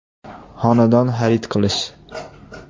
Xonadon xarid qilish.